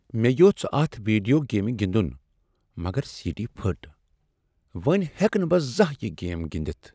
م٘ے یٕوژھ اتھ ویڈیو گیمہِ گِنٛدٗن مگر سی ڈی پھٗٹ ۔ وۄنہِ ہیٚکہٕ نہٕ بہٕ زانٛہہ یہ گیم گنٛدتھ ۔